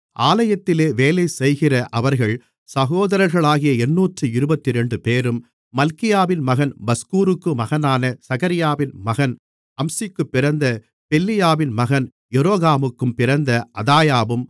ஆலயத்திலே வேலைசெய்கிற அவர்கள் சகோதரர்களாகிய எண்ணூற்று இருபத்திரண்டுபேரும் மல்கியாவின் மகன் பஸ்கூருக்கு மகனான சகரியாவின் மகன் அம்சிக்குப் பிறந்த பெல்லியாவின் மகன் எரோகாமுக்குப் பிறந்த அதாயாவும்